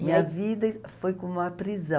Minha vida foi como uma prisão.